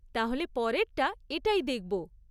তাহলে পরেরটা এটাই দেখব।